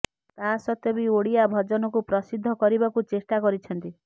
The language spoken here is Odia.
ତା ସତ୍ତ୍ୱେ ବି ଓଡ଼ିଆ ଭଜନକୁ ପ୍ରସିଦ୍ଧ କରିବାକୁ ଚେଷ୍ଟା କରିଛନ୍ତି